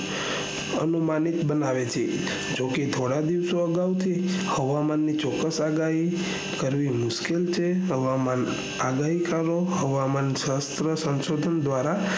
અનુમાનિક બનાવે છે જેમકે થોડા દિવસો આગાવથી હવામાન ની ચોક્કસ આગાહી કરવી મુશ્કેલ છે હવામાન ની આગાહી કરો શાસ્ત્રો દ્વારા